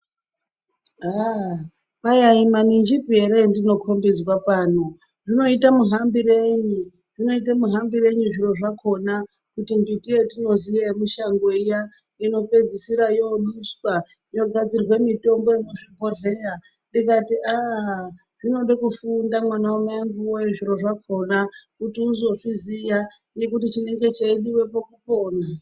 Aaaa kwai ayi maninjipi ere andinokhombedzwa pano, zvinoita muhambirenyi zvinoita muhambirenyi zviro zvakhona kuti mbiti yatinoziya yemushango iya inopedzisira yooduswa yogadzire mitombo yogadzirwe mitombo yemuzvibhodhleya ndikati aa zvinode kufunda mwana wamaengu wee zviro zvakhona kuti uzozviziya ngekuti chinenge cheidiwepo kupona.